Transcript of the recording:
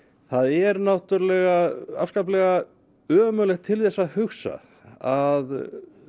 það er náttúrulega afskaplegt til þess að hugsa að